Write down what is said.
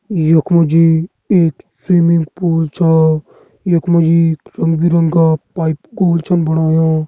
यख मजी एक स्विमिंग पूल छा। यक मजी रंग बिरंगा पाइप कूल छन बणाया।